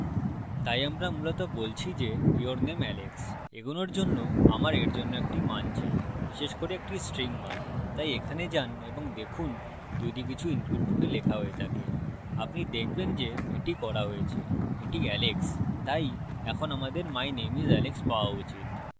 তাই আমরা মূলত বলছি যে your name alex এগোনোর জন্য আমার এর জন্য একটি মান চাই বিশেষ করে একটি string মান তাই এখানে যান এবং দেখুন যদি কিছু input রূপে লেখা হয়ে থাকে আপনি দেখবেন যে এটি করা হয়েছে এটি alex তাই এখন আমাদের my name is alex পাওয়া উচিত